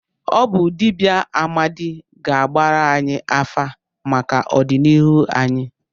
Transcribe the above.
Ọ bụ dibịa Amadi ga-agbara anyị afa maka ọdịnihu anyị.